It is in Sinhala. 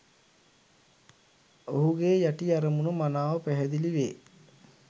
ඔහුගේ යටි අරමුණ මනාව පැහැදිලිවේ.